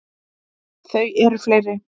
Þau eru fleiri.